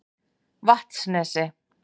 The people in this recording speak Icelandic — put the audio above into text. Vatnsnesi